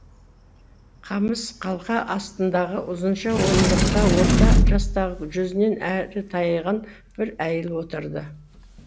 қамыс қалқа астындағы ұзынша орындықта орта жастағы жүзінен әрі тайған бір әйел отырды